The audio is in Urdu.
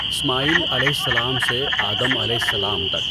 اسماعیل علیہ السلام سے آدم علیہ السلام تک